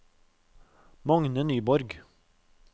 Magne Nyborg